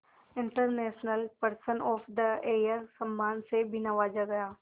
international person of the year सम्मान से भी नवाजा गया